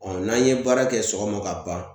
n'an ye baara kɛ sɔgɔma ka ban ,